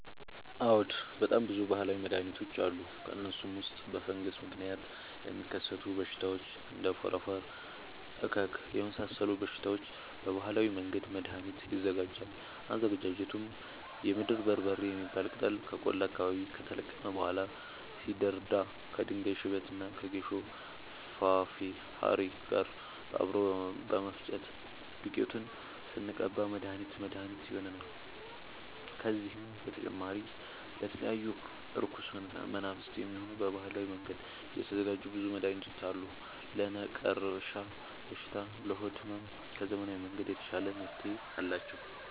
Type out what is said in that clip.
አዎድ በጣም ብዙ በሀላዊ መድሀኒቶች አሉ ከእነሱም ውስጥ በፈንገስ ምክንያት ለሚከሰቱ በሽታዎች እንደ ፎረፎር እከክ የመሳሰሉ በሽታዎች በባህላዊ መንገድ መድሀኒት ይዘጋጃል አዘገጃጀቱም የምድር በርበሬ የሚባል ቅጠል ከቆላ አካባቢ ከተለቀመ በኋላ ሲደርዳ ከድንጋይ ሽበት እና ከጌሾ ፋሬ ጋር አብሮ በመፈጨት ዱቄቱን ስንቀባ መድሀኒት መድሀኒት ይሆነናል። ከዚህም በተጨማሪ ለተለያዩ እርኩስ መናፍት፣ የሚሆን በባህላዊ መንገድ የተዘጋጀ ብዙ መድሀኒት አለ። ለነቀርሻ በሽታ ለሆድ ህመም ከዘመናዊ መንገድ የተሻለ መፍትሄ አላቸው።